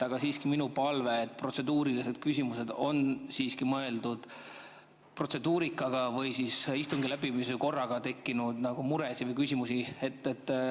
Aga siiski mul on palve, et protseduurilised küsimused on siiski mõeldud protseduurika või istungi läbimise korra kohta tekkinud mureküsimused.